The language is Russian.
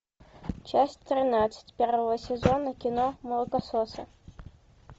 часть тринадцать первого сезона кино молокососы